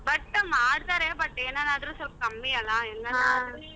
But ಮಾಡ್ತಾರೆ but ಏನನಾರು ಸ್ವಲ್ಪ ಕಮ್ಮಿ ಅಲ್ಲ .